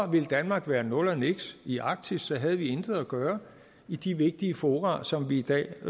ville danmark være nul og niks i arktis så havde vi intet at gøre i de vigtige fora som vi i dag